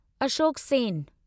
Ashok Sen